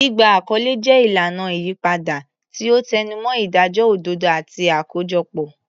Gbígba àkọlé jẹ́ ìlànà ìyípadà, tí ó tẹnumọ́ ìdájọ́ òdodo àti àkójọpọ̀.